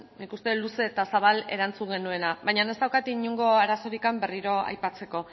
nik uste dut luze eta zabal erantzun genuela baina ez daukat inongo arazorik berriro aipatzeko